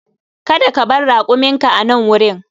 Kada ka bar rakuminka a nan wurin!